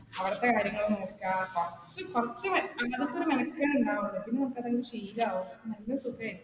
അവിടത്തെ കാര്യങ്ങള് നോക്കാം പുറത്ത് കുറച്ച് കുറച്ച് അങ്ങനത്തെ ഒരു മെനക്കെട്ട് ഉണ്ടാവുള്ളൂ പിന്നെ നമുക്ക് അത് ശീലവും, നല്ല സുഖമായിരിക്കും.